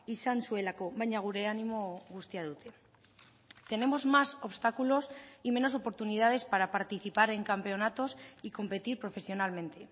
izan zuelako baina gure animo guztia dute tenemos más obstáculos y menos oportunidades para participar en campeonatos y competir profesionalmente